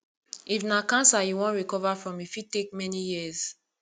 if na cancer you wan recover from e fit take many years